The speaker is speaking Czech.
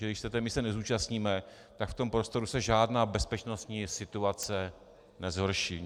Že když se té mise nezúčastníme, tak v tom prostoru se žádná bezpečnostní situace nezhorší.